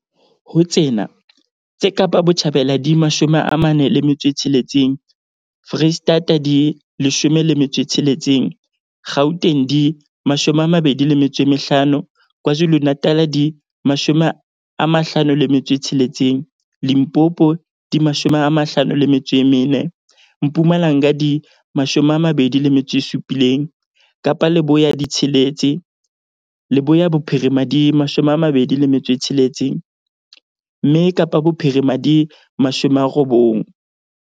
Ho tsena, tse Kapa Botjhabela di 46, Freistata di 16, Gauteng di 25, KwaZulu-Natal di 56, Limpopo di 54, Mpumalanga di 27, Kapa Leboya di tsheletse, Leboya Bophirima di 26, mme Kapa Bophirima di 90.